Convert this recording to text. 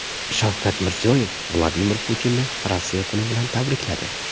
Shavkat Mirziyoyev Vladimir Putinni Rossiya kuni bilan tabrikladi.